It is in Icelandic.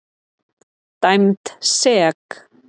Dæmd sek.